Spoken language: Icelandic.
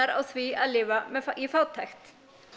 á því að lifa í fátækt